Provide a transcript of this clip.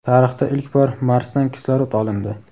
Tarixda ilk bor Marsdan kislorod olindi.